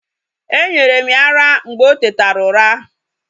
E nyere m ya ara mgbe o tetera n'ura.